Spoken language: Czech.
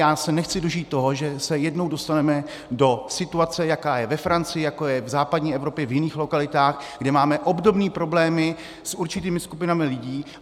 Já se nechci dožít toho, že se jednou dostaneme do situace, jaká je ve Francii, jaká je v západní Evropě v jiných lokalitách, kde máme obdobné problémy s určitými skupinami lidí.